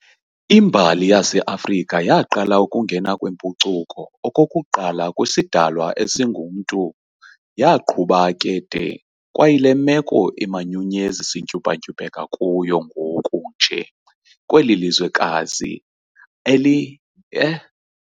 Imbali yase-Afrika yaaqala ukungena kwempucuko okokuqala kwisidalwa esingumntu yaaqhuba ke de kwayile meko imanyunyezi sintyumpa-ntyumpeka kuyo ngoku nje kweli lizwekazi eli.